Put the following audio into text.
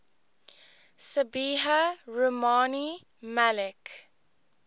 sabiha rumani malik